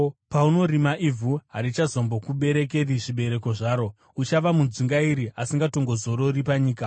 Paunorima ivhu, harichazombokuberekeri zvibereko zvaro. Uchava mudzungairi asingatongozorori panyika.”